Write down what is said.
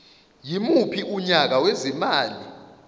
yimuphi unyaka wezimali